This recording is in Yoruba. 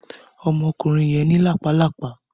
Ọmọkunrin yẹn ni lápá lápá.